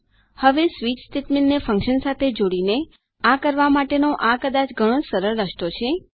હવે સ્વીચ સ્ટેટમેન્ટને ફન્કશન સાથે જોડીને આ કરવા માટેનો આ કદાચ ઘણો સરળ રસ્તો છે